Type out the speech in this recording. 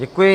Děkuji.